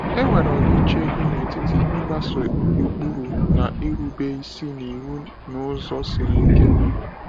E nwere ọdịiche dị n’etiti ịgbaso ụkpụrụ na irube isi n’iwu n’ụzọ siri ike.